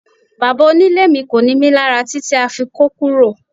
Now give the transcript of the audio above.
Bàbá onílé mi kò ni mí lára títí a fi kó kúrò